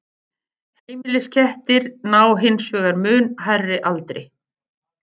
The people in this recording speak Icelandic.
Heimiliskettir ná hins vegar mun hærri aldri.